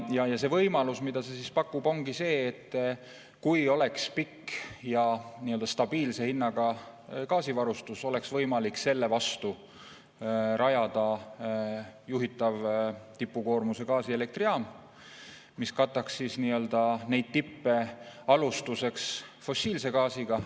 Võimalus, mida see pakub, ongi see, et kui oleks pikaajaline ja stabiilse hinnaga gaasivarustus, oleks võimalik selle vastu rajada juhitav tipukoormuse gaasielektrijaam, mis kataks neid tippe alustuseks fossiilse gaasiga.